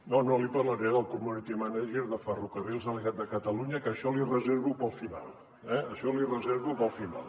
no no li parlaré del community manager de ferrocarrils de la generalitat de catalunya que això l’hi reservo per al final eh això l’hi reservo per al final